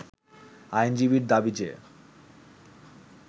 আইনজীবীর দাবী যে